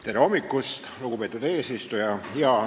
Tere hommikust, lugupeetud eesistuja!